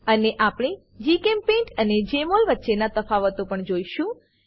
અને આપણે જીચેમ્પેઇન્ટ અને જમોલ વચ્ચેના તફાવતો પણ જોશું